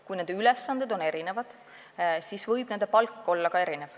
Kui ülesanded on erinevad, siis võib ka palk olla erinev.